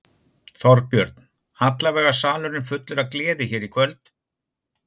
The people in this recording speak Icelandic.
Þorbjörn: Allavega salurinn fullur af gleði hér í kvöld?